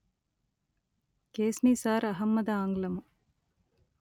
కెఎస్నిసార్ అహ్మద్ ఆంగ్లము